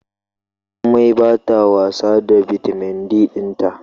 Jummai bata wasa da bitamin D dinta